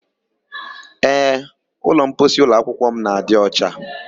Ee, ụlọmposi ụlọakwụkwọ m na-adị ọcha.